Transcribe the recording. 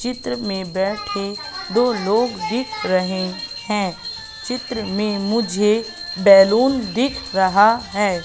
चित्र में बैठे दो लोग दिख रहे हैं चित्र में मुझे बैलून दिख रहा है।